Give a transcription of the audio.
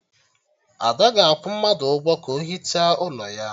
Ada ga-akwụ mmadụ ụgwọ ka o hichaa ụlọ ya